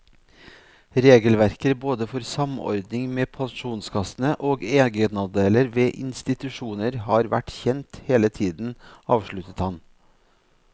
Regelverket både for samordning med pensjonskassene og egenandeler ved institusjoner har vært kjent hele tiden, avsluttet han.